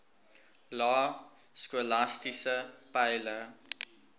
lae skolastiese peile